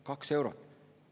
Kaks eurot!